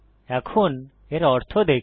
এখন এর অর্থ দেখি